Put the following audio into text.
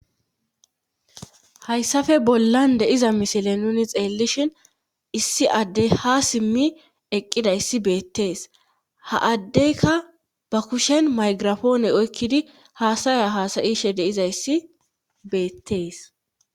Hayssafe bollan deiza misile nuni xeellishin issi addey ha simmi eqqida yssi beettees ha addeykka ba kushen maygirafoone oykkidi haasaya haasayishe deizayssi beettees.